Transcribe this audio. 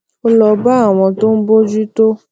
ó lọ bá àwọn tó ń bójú tó